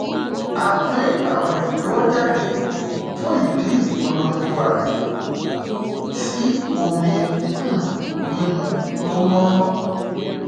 a pín àwọn ìléwọ jáde fún ìdí ìpolongo ààyè sí omi um mímu tó mọ